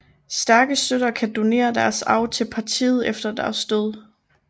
Stærke støtter kan donere deres arv til partiet efter deres død